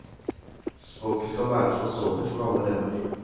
Språket skal være forståelig for alle elever.